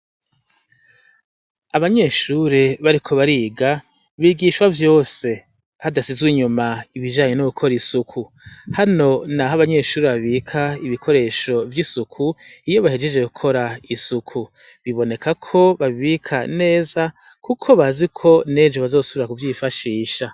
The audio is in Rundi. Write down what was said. Abanyeshure bariko bariga bigishwa vyose hadasizwe inyuma ibijanye no gukora isuku hano naho abanyeshure babika ibikoresho vyisuku iyo bahejeje gukora isuku biboneka ko babi bika neza kuko bazi neza ko nejo bazosubira kuvyifashisha.